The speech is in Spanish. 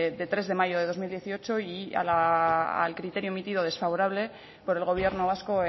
de tres de mayo de dos mil dieciocho y al criterio emitido desfavorable por el gobierno vasco